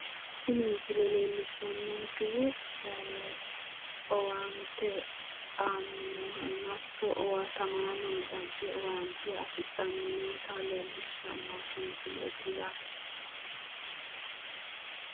Tini misile leellishshannonkehu owaante aanni noohanna hatto owaatamaano dagge owaante afidhanni noota leellishshannonke misileeti yaate.